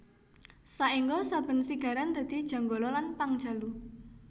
Saéngga saben sigaran dadi Janggala lan Pangjalu